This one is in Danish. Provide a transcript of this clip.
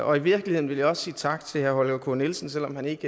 og i virkeligheden vil jeg også sige tak til herre holger k nielsen selv om han ikke